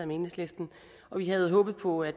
med enhedslisten og vi havde håbet på at